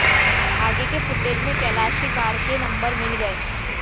आगे के फुटेज में कैलाश की कार के नंबर मिल गए